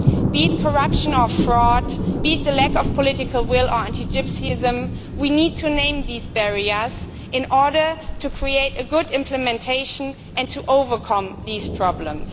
Be it corruption or fraud, be it the lack of political will or anti Gypsyism, we need to name these barriers in order to create good implementation and overcome these problems.